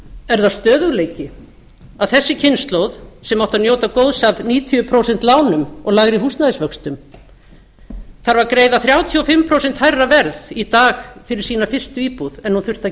er það stöðugleiki að þessi kynslóð sem átti að njóta góðs af níutíu prósent lánum og lægri húsnæðisvöxtum þarf að greiða þrjátíu og fimm prósent hærra verð í dag fyrir sína fyrstu íbúð en hún þurfti að